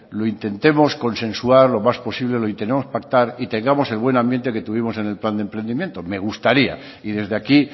lo intentemos consensuar lo más posible lo intentemos pactar y tengamos el buen ambiente que tuvimos el en plan de emprendimiento me gustaría y desde aquí